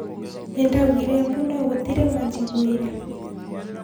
Nindaugire mbu no gũturĩ wanjiguire